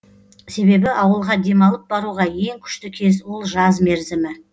себебі ауылға демалып баруға ең күшті кез ол жаз мерзімі